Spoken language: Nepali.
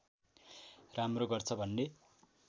राम्रो गर्छ भन्ने